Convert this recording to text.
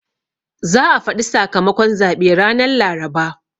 Za a faɗi sakamakon zaɓe ranan Laraba.